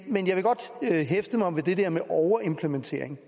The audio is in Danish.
men jeg vil godt hæfte mig ved det der med overimplementeringen